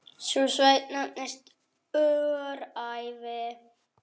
Sú sveit nefnist nú Öræfi.